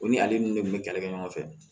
O ni ale ni ne tun bɛ kɛlɛ kɛ ɲɔgɔn fɛ